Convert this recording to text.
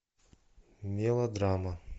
мелодрама